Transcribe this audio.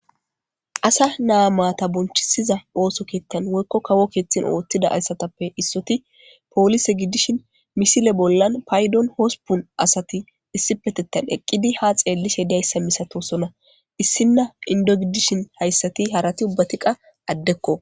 asa naa maata bonchisiza ooso kiettan woykko kawo keeththen oottida assatappe issoti poolise giddishin misile bollan paydon hospun asati issipetettan eqqidi ha xeellishe diayssa misato sona issinna indo gidishin hayssati harati ubbatiqa addekko